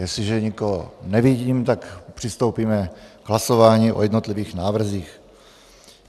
Jestliže nikoho nevidím, tak přistoupíme k hlasování o jednotlivých návrzích.